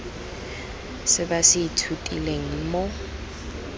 se ba se ithutileng mo